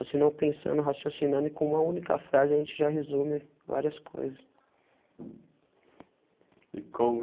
Ou senão pensando raciocinando e com uma única frase, a gente já resume várias coisas. E como